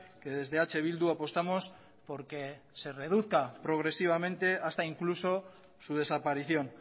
que desde eh bildu apostamos porque se reduzca progresivamente hasta incluso su desaparición